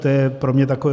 To je pro mě takové...